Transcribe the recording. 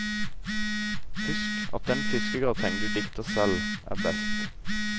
Husk at den fiskegratengen du dikter selv, er best.